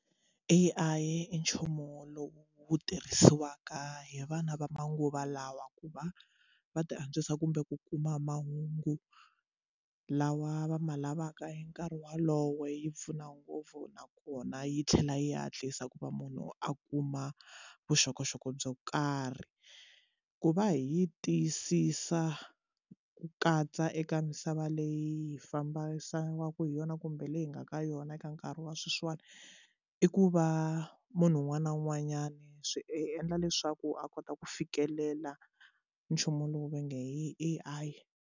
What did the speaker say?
A_I i nchumu lowu tirhisiwaka hi vana va manguva lawa ku va va ti antswisa kumbe ku kuma mahungu lawa va ma lavaka hi nkarhi walowo yi pfuna ngopfu nakona yi tlhela yi hatlisa ku va munhu a kuma vuxokoxoko byo karhi ku va hi tiyisisa ku katsa eka misava leyi hi yona kumbe leyi nga ka yona vana eka nkarhi wa sweswiwani i ku va munhu un'wana na un'wanyani swi endla leswaku a kota ku fikelela nchumu lowu va nge i A_I.